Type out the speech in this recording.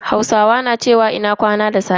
Hausawa na cewa "Ina kwana" da safe.